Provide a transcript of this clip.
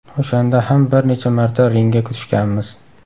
O‘shanda ham bir necha marta ringga tushganmiz.